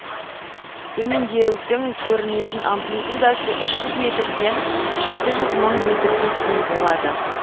төмендеудің көрінетін амплитудасы үш жүз метрден жеті жүз мың метрге дейін болады